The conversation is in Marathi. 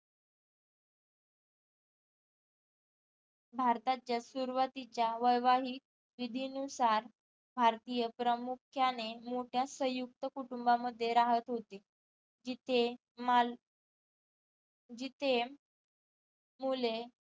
भारताच्या सुरवातीच्या वैवाहिक विधीनुसार भारतीय प्रामुख्याने मोठ्या संयुक्त कुटुंबामध्ये राहत होते जिथे माल जिथे मुले